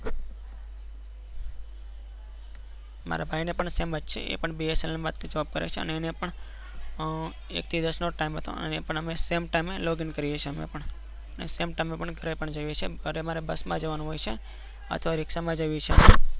મારા ભાઈ ને પણ પણ sem જ છે એ પણ એ પણ bsnl માં job કરે છે. અનો પણ એક થી દસ નો ટીમે છે. અને same time યે login કરીયેને કરીએ છીએ ને ઘરે અમારે bus જવાનું હોય છે અથવા રીક્ષા માં જવાનું છે.